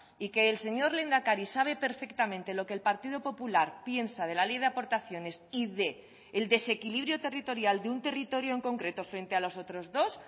y que el señor lehendakari sabe perfectamente lo que el partido popular piensa de la ley de aportaciones y del desequilibrio territorial de un territorio en concreto frente a los otros dos